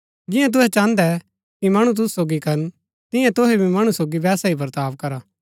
जियां तुहै चाहन्दै कि मणु तुसु सोगी करन तियां तुहै भी मणु सोगी वैसा ही वर्ताव करा